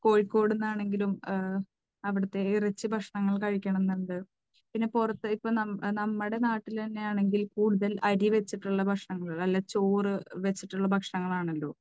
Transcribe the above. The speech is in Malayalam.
കോഴിക്കോട് നിന്ന് ആണെങ്കിലും അവിടുത്തെ ഇറച്ചി ഭക്ഷണങ്ങൾ കഴിക്കണം എന്നുണ്ട്. പിന്നെ പുറത്ത്, ഇപ്പോൾ നമ്മുടെ നാട്ടിൽ തന്നെയാണെങ്കിൽ കൂടുതൽ അരി വെച്ചിട്ടുള്ള ഭക്ഷണങ്ങൾ, അല്ലേൽ ചോറ് വെച്ചിട്ടുള്ള ഭക്ഷണങ്ങളാണല്ലോ.